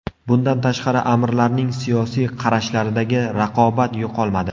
Bundan tashqari, amirlarning siyosiy qarashlaridagi raqobat yo‘qolmadi.